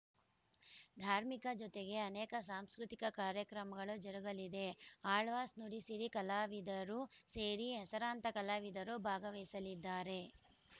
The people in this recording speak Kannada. ಧಾರ್ಮಿಕ ಜೊತೆಗೆ ಅನೇಕ ಸಾಂಸ್ಕೃತಿಕ ಕಾರ್ಯಕ್ರಮಗಳು ಜರುಗಲಿದೆ ಅಳ್ವಾಸ್‌ ನುಡಿಸಿರಿ ಕಲಾವಿದರು ಸೇರಿ ಹೆಸರಾಂತ ಕಲಾವಿದರು ಭಾಗವಹಿಸಲಿದ್ದಾರೆ